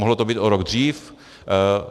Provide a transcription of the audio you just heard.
Mohlo to být o rok dřív.